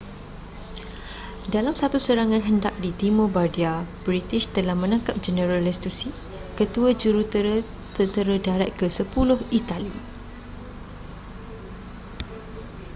dalam satu serangan hendap di timur bardia british telah menangkap jeneral lastucci ketua jurutera tentera darat ke-sepuluh itali